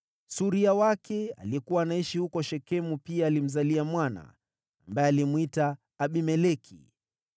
Suria wake, aliyekuwa anaishi huko Shekemu, pia alimzalia mwana, ambaye alimwita Abimeleki.